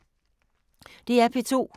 DR P2